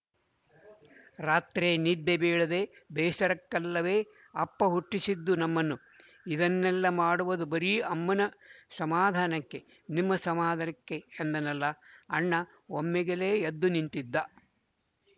ರಾತ್ರೆ ನಿದ್ದೆ ಬೀಳದ ಬೇಸರಕ್ಕಲ್ಲವೇ ಅಪ್ಪ ಹುಟ್ಟಿಸಿದ್ದು ನಮ್ಮನ್ನು ಇದನ್ನೆಲ್ಲ ಮಾಡುವದು ಬರೀ ಅಮ್ಮನ ಸಮಾಧಾನಕ್ಕೆ ನಿಮ್ಮ ಸಮಾಧಾನಕ್ಕೆ ಎಂದನಲ್ಲ ಅಣ್ಣ ಒಮ್ಮಿಗೆಲೇ ಎದ್ದು ನಿಂತಿದ್ದ